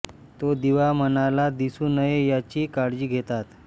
तो दिवा मलाला दिसू नये याची काळजी घेतात